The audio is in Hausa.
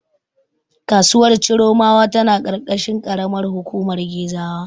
Kasuwar Chiromawa tana ƙarƙashin ƙaramar hukumar Gezawa.